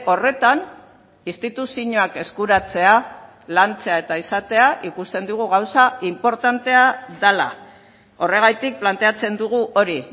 horretan instituzioak eskuratzea lantzea eta izatea ikusten dugu gauza inportantea dela horregatik planteatzen dugu hori